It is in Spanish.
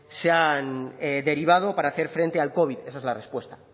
se han derivado para hacer frente al covid esa es la respuesta